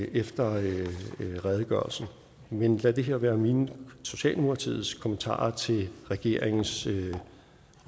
efter redegørelsen men lad det her være mine og socialdemokratiets kommentarer til regeringens